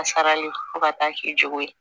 A sarali fo ka taa k'i jogo ye